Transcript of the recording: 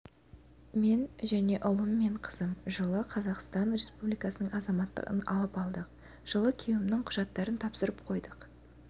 мен және ұлым мен қызым жылы қазақстан республикасының азаматтығын алып алдық жылы күйеуімнің құжаттарын тапсырып қойып